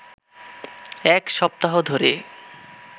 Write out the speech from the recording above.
এক সপ্তাহ ধরে